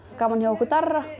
gaman hjá okkur Darra